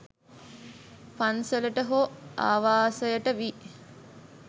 පන්සලට හෝ ආවාසයට වී